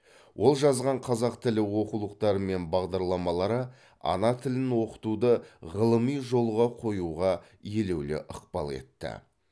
ол жазған қазақ тілі оқулықтары мен бағдарламалары ана тілін оқытуды ғылыми жолға қоюға елеулі ықпал етті